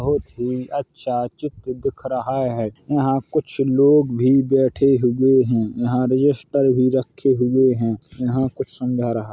बोहत ही अच्छा चित्र दिख रहा है | यहां कुछ लोग भी बैठे हुए हैं | यहां रजिस्टर भी रखे हुए हैं | यहाँ कुछ समझा रहा--